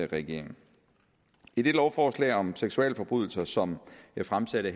regeringen i det lovforslag om seksualforbrydelser som jeg fremsatte